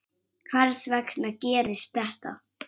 Hvers vegna gerist þetta?